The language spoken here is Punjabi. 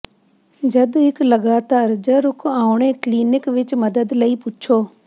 ਜਦ ਇੱਕ ਲਗਾਤਾਰ ਜ ਰੁਕ ਆਉਣੇ ਕਲੀਨਿਕ ਵਿੱਚ ਮਦਦ ਲਈ ਪੁੱਛੋ